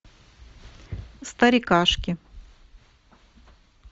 старикашки